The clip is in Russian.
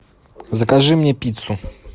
закажи мне пиццу